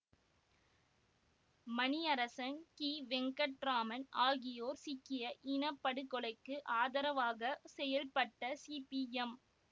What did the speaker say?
மணியரசன் கிவெங்கட்ராமன் ஆகியோர் சீக்கிய இன படுகொலைக்கு ஆதரவாக செயல்பட்ட சிபிஎம்